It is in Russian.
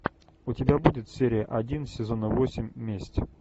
у тебя будет серия один сезона восемь месть